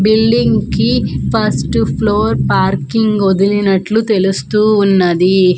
Building కి first floor parking వదిలినట్లు తెలుస్తూ ఉన్నది.